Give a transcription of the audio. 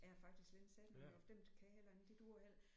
Jeg har faktisk slet ikke sat nogen i år for dem kan jeg heller ikke de duer